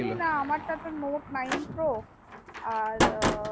আমার তা তো note nine pro আর ও